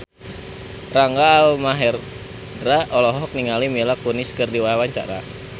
Rangga Almahendra olohok ningali Mila Kunis keur diwawancara